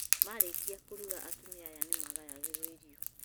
Marĩkia kũruga atumia aya nĩmagayagĩrwo irio